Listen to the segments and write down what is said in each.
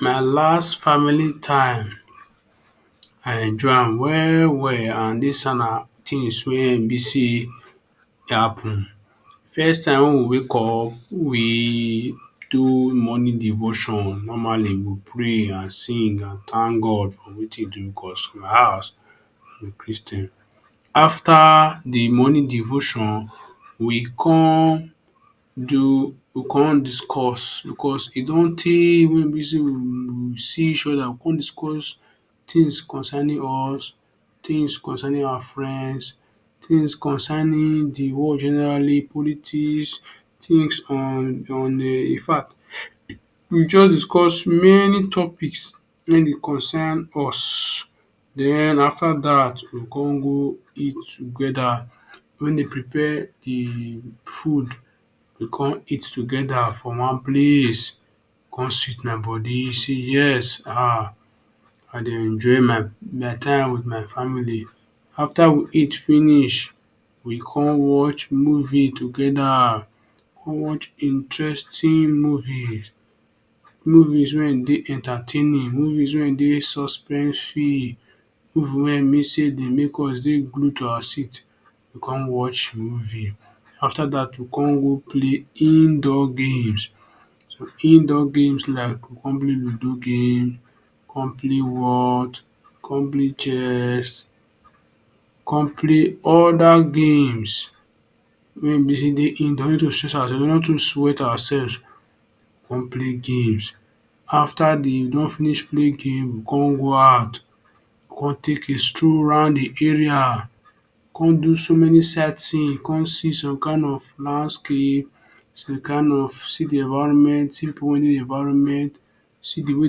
My last family time I enjoy am well well and dis tin wey e be say e happen first time wey we wake up we do morning devotion normally we pray sing and thank God for wetin e do cause my house we be christain, After de morning devotion we con do con discuss cause e don tey wey we see each oda we con discuss tins concerning us tins concerning awa friends tins concerning de world generally politics tins on um infact we jus discuss many topics wey dey concern us den after dat we con go eat togeda wen dey prepare de food we con eat togeda for one place con sit my bodi say yes ahh I dey enjoy my time with my family after we eat finish we con watch movie togeda con watch interesting movies movies wey dey entertaining movies wey dey suspensive movies wey[um]be sey dey make us dey glue to awa sit we con watch movie after dat we con play indoor games indoor games like we go con play ludo game we con play whott con play chess con play oda games where e be say we no too stress awa sef we con play games after we don finish play games we con go out con take a stroll round de area we con do so many sight seeing con see some kind of landscape con kind of see de environment simple environment see de way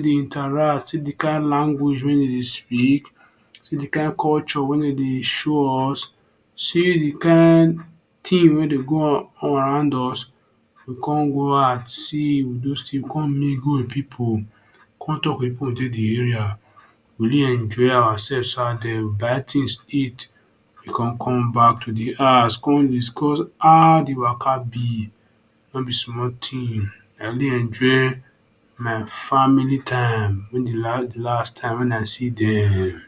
dem interact see de kind language wey dem dey speak see de kin culture wey dem dey show us see de kind thing wey dey go around us we con go out see con mingle with people con talk with people wey dey de area we really enjoy awa sef we buy things eat we con come back de house con discuss how de waka be no be small thing I really enjoy my family time de last time wen I see dem.